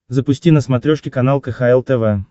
запусти на смотрешке канал кхл тв